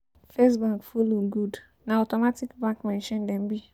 First bank follow good; na automatic bank machine dem be.